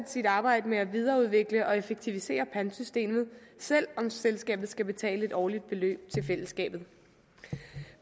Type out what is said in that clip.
sit arbejde med at videreudvikle og effektivisere pantsystemet selv om selskabet skal betale et årligt beløb til fællesskabet